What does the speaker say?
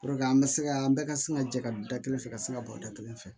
an bɛ se ka an bɛɛ ka sin ka jɛ ka da kelen fɛ ka se ka bɔ da kelen fɛ